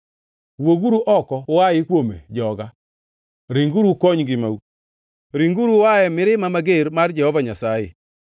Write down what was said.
“Wuoguru oko uayi kuome, joga! Ringuru ukony ngimau! Ringuru uaye mirima mager mar Jehova Nyasaye.